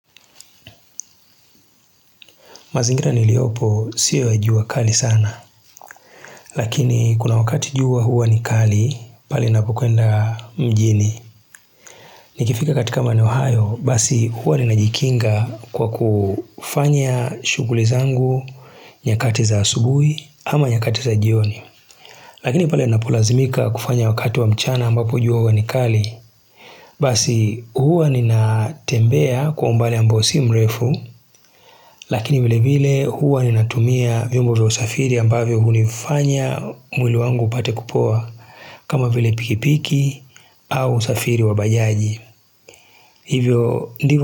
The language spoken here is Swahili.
Mazingira niliopo siwa jua ya kali sana. Lakini kuna wakati jua huwa ni kali, pali napukwenda mjini. Nikifika katika maeneo hayo, basi huwa ninajikinga kwa kufanya shuguli zangu nyakati za asubui ama nyakati za jioni. Lakini pali napulazimika kufanya wakati wa mchana ambapo juwa huwa ni kali. Basi huwa ninatembea kwa umbali ambao si mrefu Lakini vile vile huwa ninatumia viumbo vya usafiri ambavyo hunifanya mwili wangu upate kupoa kama vile pikipiki au usafiri wabajaji hivyo ndivu.